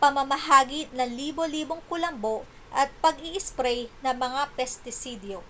pamamahagi ng libo-libong kulambo at pag-iisprey ng mga pestisidyo